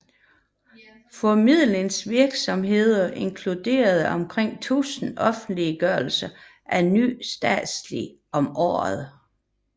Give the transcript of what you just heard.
Formidlingsvirksomheden inkluderer omkring 1000 offentliggørelser af ny statistik om året